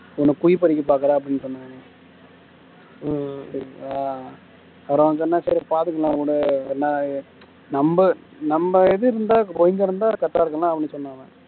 எனக்கு குழி பறிக்க பாக்குற அப்படின்னு சொன்னா அப்புறம் நான் சொன்னேன் சரி பார்த்துக்கலாம் விடு நம்ம நம்ம இது இருந்தா இருந்தா correct ஆ இருக்கும் இல்ல அப்படின்னு சொன்னான் அவன்